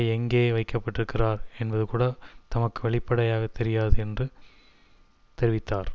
எங்கே வைக்கப்பட்டிருக்கிறார் என்பது கூட தமக்கு வெளிப்படையாக தெரியாது என்று தெரிவித்தார்